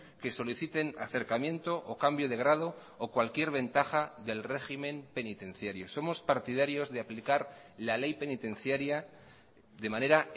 que soliciten acercamiento o cambio de grado o cualquier ventaja del régimen penitenciario somos partidarios de aplicar la ley penitenciaria de manera